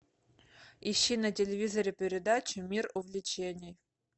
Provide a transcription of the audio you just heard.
ищи на телевизоре передачу мир увлечений